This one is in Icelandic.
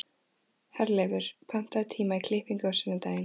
Herleifur, pantaðu tíma í klippingu á sunnudaginn.